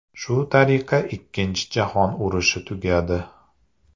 Shu tariqa Ikkinchi jahon urushi tugadi.